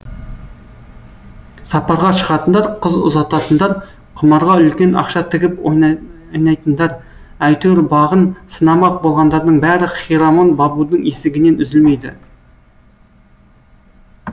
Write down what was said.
сапарға шығатындар қыз ұзататындар құмарға үлкен ақша тігіп ойнайтындар әйтеуір бағын сынамақ болғандардың бәрі хирамон бабудың есігінен үзілмейді